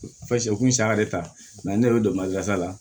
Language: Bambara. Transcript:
u kun ye saya de ta ne yɛrɛ be donbasa la